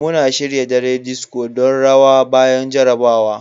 Muna shirya dare disco don rawa bayan jarrabawa.